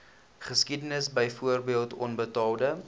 geskiedenis byvoorbeeld onbetaalde